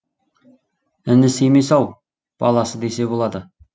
інісі емес ау баласы десе болады